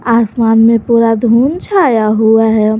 आसमान में पूरा धूप छाया हुआ है।